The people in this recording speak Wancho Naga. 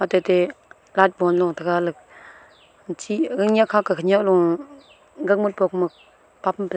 tate lat bon lo taga le chih gangnyak kha ka khanyak lo gangmut pong poma papum phai --